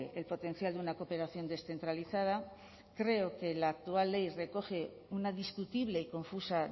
el potencial de una cooperación descentralizada creo que la actual ley recoge una discutible y confusa